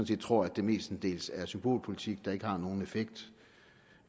set tror at det mestendels er symbolpolitik der ikke har nogen effekt